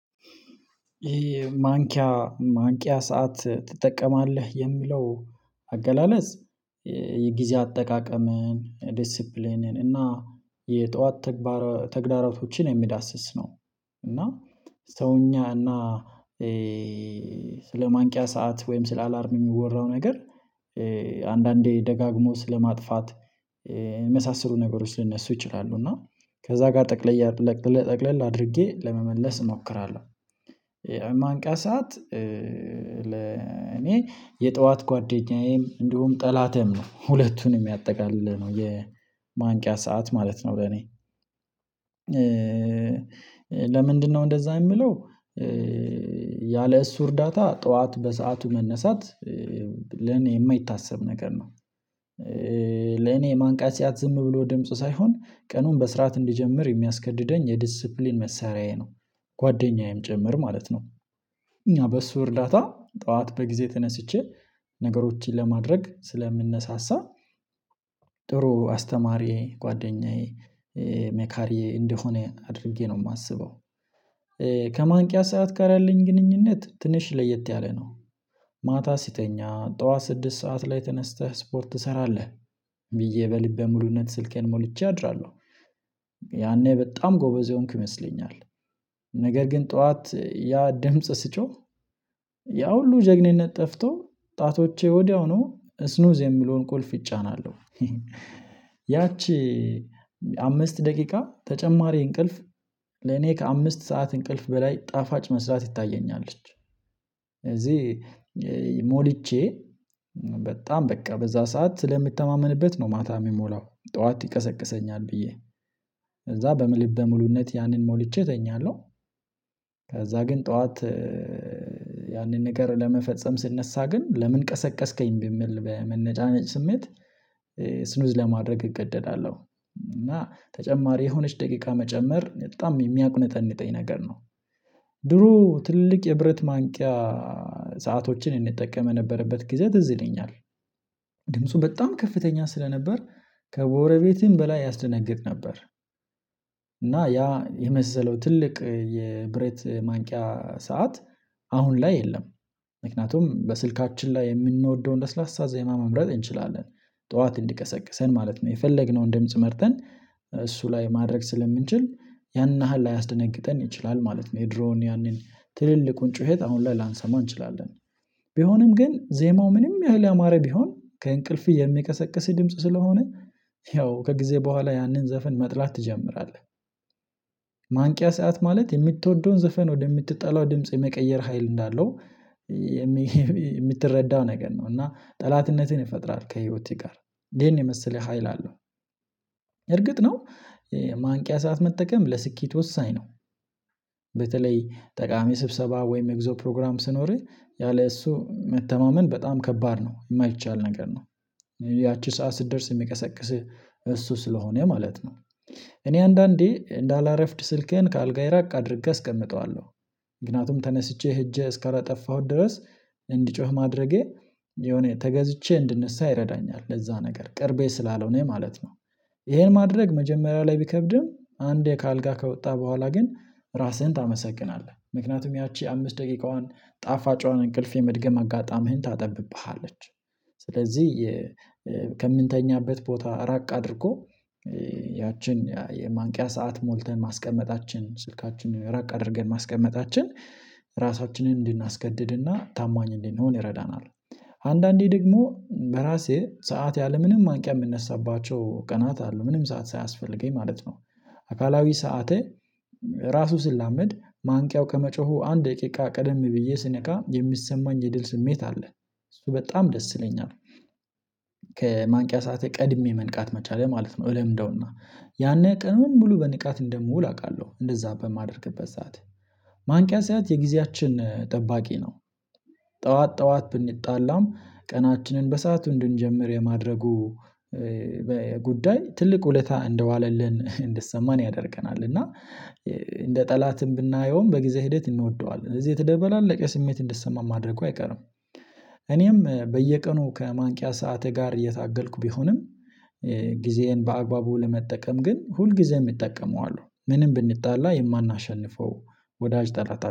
ይሄ ማንቂያ ማንቂያ ሰዓት ትጠቀማለህ የሚለው አገላለጽ የጊዜ አጠቃቀምን ዲሲፕሊንን እና የጠዋት ተግባራቶችን የሚዳስስ ነው። እና ሰውኛ እና ስለማንቂያ ሰዓት ወይም ስለ አላርም የሚወራው ነገር አንዳንዴ ደጋግሞ ስለማጥፋት የመሳሰሉ ነገሮች ሊነሱ ይችላሉ እና ከዛ ጋር ጠቅለል ጠቅለል አድርጌ ለመመለስ እሞክራለሁ። ማንቃ ሳዓት ለኔ የጠዋት ጓደኛዬም እንዲሁም ጠላቴም ነው ሁለቱንም የሚያጠቃልለው ነው የማንቂያ ሰዓት ማለት ነው። ለኔ ለምን ለምንድነው? እንደዛ የሚለው ያለ እሱ እርዳታ ጠዋት በሰአቱ መነሳት ለኔ የማይታሰብ ነገር ነው። ለኔ ማንቃት ሰዓት ዝም ብሎ ድምጽ ሳይሆን ቀኑን በስርዓት እንዲጀምር የሚያስገድደኝ የዲሲፕሊን መሳሪያዬ ነው። ጓደኛዬም ጭምር ማለት ነው። እኛ በሱ እርዳታ ጠዋት በጊዜ ተነስቼ ነገሮችን ለማድረግ ስለምነሳሳ ጥሩ አስተማሪዬ ጓደኛዬ መካሪዬ እንደሆነ አድርጌ ነው የማስበው። ከማንቂያ ሰዓት ጋር ያለኝ ግንኙነት ትንሽ ለየት ያለ ነው። ማታ ሲተኛ ጠዋት ስድስት ሰዓት ላይ ተነስተህ ስፖርት ትሰራለህ? ብዬ በልበ ሙሉነት ስልኬን ሞልቼ አድራለሁ ያኔ በጣም ጎበዘ የሆንኩ ይመስለኛል። ነገር ግን ጠዋት ያ ድምጽ ስጮህ ያ ሁሉ ጀግኒነት ጠፍቶ ጣቶቼ ወዲያውኑ ስኑዝ የሚለውን ቁልፍ ይጫናለሁ። ያቺ አምስት ደቂቃ ተጨማሪ እንቅልፍ ለኔ ከአምስት ሰዓት እንቅልፍ በላይ ጣፋጭ መስላ ትታየኛለች። እዚህ ሞልቼ በጣም በቃ በዛ ሰዓት ስለምተማመንበት ነው ማታ የሚሞላው ጠዋት ይቀሰቅሰኛል ብዬ ከዛ በምልበ ሙሉነት ያንን ሞልቼ እተኛለሁ። ከዛ ግን ጠዋት ያንን ነገር ለመፈጸም ስነሳ ግን ለምን ቀሰቀስከኝ በሚል በመነጫነጭ ስሜት ስኑዝ ለማድረግ እገደዳለሁ እና ተጨማሪ የሆነች ደቂቃ መጨመር በጣም የሚያቁነጠነጠኝ ነገር ነው። ድሮ ትልቅ የብረት ማንቂያ ሰአቶችን እንጠቀም በነበርበት ጊዜ ትዝ ይለኛል ድምፁ በጣም ከፍተኛ ስለነበር ከጎረቤቴም በላይ ያስደነግጥ ነበር። እና ያ የመሰለው ትልቅ የብረት ማንቂያ ሰዓት አሁን ላይ የለም። ምክንያቱም በስልካችን ላይ የምንወደውን ለስላሳ ዘይማ መምረጥ እንችላለን ጠዋት እንዲቀሰቅሰን ማለት ነው የፈለግነውን ደምጽ መርጠን እሱ ላይ ማድረግ ስለምንችል ያንን ያህል ላያስደነግጠን ይችላል ማለት ነው። የድሮውን ያንን ትልልቁን ጩኸት አሁን ላንሰማ እንችላለን ቢሆንም ግን ዜማው ምንም ያህል ያማረ ቢሆን ከእንቅልፍ የሚያቀሰቅስ ድምጽ ስለሆነ ያው ከጊዜ በኋላ ያንን ዘፈን መጥላት ትጀምራለህ። ማንቂያ ሰዓት ማለት የምትወደውን ዘፈን ወደምትጠላው ድምጽ የመቀየር ሀይል እንዳለው የምትረዳው ነገር ነው እና ጠላትነትን ይፈጥራል ከህይወቴ ጋር ይሄን የመሰለ ሀይል አለው። እርግጥ ነው ማንቂያ ሰዓት መጠቀም ለስኬት ወሳኝ ነው። በተለይ ጠቃሚ ስብሰባ ወይም የጉዞ ፕሮግራም ስኖርህ ያለ እሱ መተማመን በጣም ከባድ ነው የማይቻል ነገር ነው። ያቺ ሰዓት ስደርስ የሚቀሰቅስህ እሱ ስለሆነ ማለት ነው። እኔ አንዳንዴ እንደ አላረፍድ ስልኬን ከአልጋዬ ራቅ አድርጌ እስቀምጠዋለሁ ምክንያቱም ተነስቼ ሄጄ እስከላጠፋሁት ድረስ እንዲጮህ ማድረጌ የሆነ ተገዝቼ እንድንሳ ይረዳኛል ለዛ ነገር ቅርቤ ስላለሆነ ማለት ነው። ይሄን ማድረግ መጀመሪያው ላይ ቢከብድም አንዴ ከአልጋ ከወጣ በኋላ ግን ራስህን ታመሰግናለህ ምክንያቱም ያቺ አምስት ደቂቃዋን ጣፋጭዋን እንቅልፍ የመድገም አጋጣሚህን ታጠብብሃለች። ስለዚህ ከምንተኛበት ቦታ ራቅ አድርጎ ያችን የማንቂያ ሰዓት ሞልተን ማስቀመጣችን ስልካችንን ረቅ አድርገን ማስቀመጣችን ራሳችንን እንድናስገድድና ታማኝ እንድንሆን ይረዳናል። አንዳንዴ ደግሞ በራሴ ሰዓት ያለምንም ማንቂያ የምነሳባቸው ቀናት አሉ ምንም ሰዓት ሳያስፈልገኝ ማለት ነው። አካላዊ ሰዓቴ ራሱ ስላመድ ማንቂያው ከመጮሁ አንድ ደቂቃ ቀደም ብዬ ስነቃ የሚሰማኝ የድል ስሜት አለ እሱ በጣም ደስ ይለኛል። ከማንቂያ ሰዓት ቀድሜ መንቃት መቻሌ ማለት ነው እለምደውና ያኔ ቀኑን ሙሉ በንቃት እንደምውል አውቃለሁ እንደዛ በማደርግበት ሰዓት ማንቂያ ሰዓት የጊዜያችን ጠባቂ ነው። ጠዋት ጠዋት ብንጣላም ቀናችንን በሰአቱ እንድንጀምር የማድረጉ በጉዳይ ትልቅ ውለታ እንደዋለልን እንደሰማን ያደርገናል እና እንደ ጠላትም ብናየውም በጊዜ ሂደት እንወደዋለን እዚህ የተደባለቀ ስሜት እንዲሰማም ማድረጉ አይቀርም። እኔም በየቀኑ ከማንቂያ ሰዓት ጋር እየታገልኩ ቢሆንም ጊዜዬን በአግባቡ ለመጠቀም ግን ሁልጊዜም እጠቀመዋለሁ ምንም ብንጣላ የማናሸንፈው ወዳጅ ጠላታ